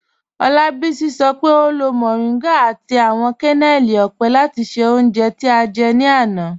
Olabisi sọ pe o lo mọrìngá àti awọn kẹnẹlì ọ́pẹ́ láti ṣẹ́ ọ̀unje tí a jẹ́ ni ọ̀na.